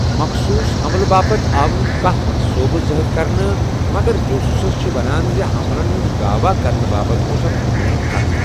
مخصوص حملہٕ باپت آو نہٕ كانہہ منصوبہٕ ظٲہِر كرنہٕ ، مگر جو سوُس چھِ ونان زِ حملن ہٗند دعوا كرنہٕ باپت اوس اكھ نموُنہٕ خط ۔